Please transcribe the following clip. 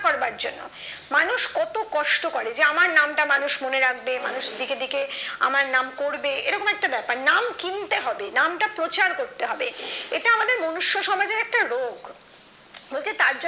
করবার জন্য মানুষ কত কষ্ট করে যে আমার নামটা মানুষ মনে রাখবে মানুষ দিকে দিকে আমার নাম করবে এরকম একটা ব্যাপার নাম কিনতে হবে নামটা প্রচার করতে হবে এটা আমাদের মনুষ্য সমাজের একটা রোগ পড়তে তার জন্য